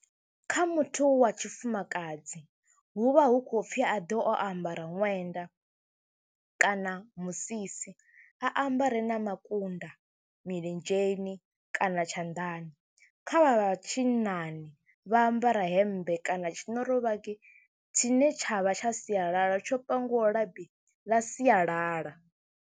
Kha muthu wa tshifumakadzi hu vha hu khou pfhi a ḓe o ambara ṅwenda kana musisi, a ambare na makunda milenzheni kana tshanḓani. Kha vha tshinnani vha ambara hemmbe kana tshinorovhagi tshine tsha vha tsha sialala tsho pangiwaho labi ḽa sialala.